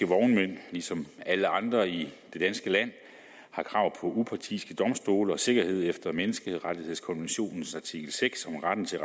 vognmænd ligesom alle andre i det danske land har krav på upartiske domstole og sikkerhed efter menneskerettighedskonventionens artikel seks om retten til